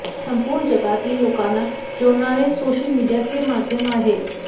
संपूर्ण जगातील लोकांना जोडणारे सोशल मीडिया हे माध्यम आहे